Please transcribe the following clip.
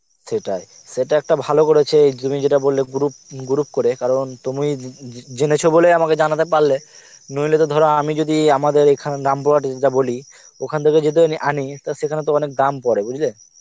সেটাই, সেটা একটা ভালো করেছে তুমি যেটা বললে group, group করে কারণ তুমি যে~ যেনেছ বলেই আমাকে জানাতে পারলে নইলে তো ধর আমি যদি আমাদের এখানে রামপুরহাটিতে যা বলি, ওখান থেকেও যদি আনি টা সেখানে তো অনেক দাম পরে বুজলে